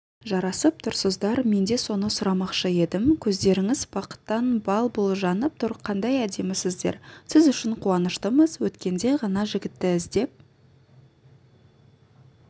жарасып тұрсыздар мен де соны сұрамақшы едім көздеріңіз бақыттан бал-бұл жанып тұр қандай әдемісіздер сіз үшін қуаныштымыз өткенде ғана жігітті іздеп